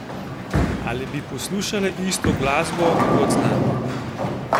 Ali bi poslušale isto glasbo kot z nami?